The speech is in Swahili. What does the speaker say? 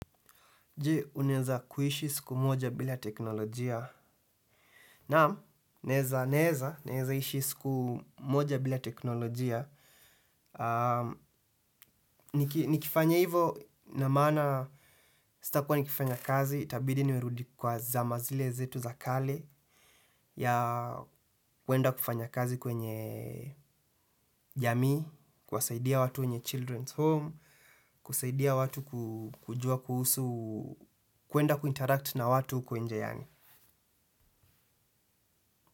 Je, unaeza kuishi siku moja bila teknolojia. Naam, naeza naeza, naeza ishi siku moja bila teknolojia. Nikifanya hivo na maana, sitakuwa nikifanya kazi, itabidi nimerudi kwa zama zile zetu za kale, ya kuenda kufanya kazi kwenye jamii, kwasaidia watu wenye Children's Home, kusaidia watu kujua kuhusu, kuenda kuinteract na watu huko nje yani.